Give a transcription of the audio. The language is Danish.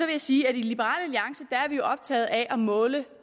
jeg sige at i liberal alliance er vi optaget af at måle